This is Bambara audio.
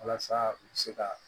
Walasa u bɛ se ka